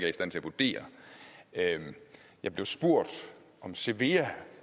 i stand til at vurdere jeg blev spurgt om cevea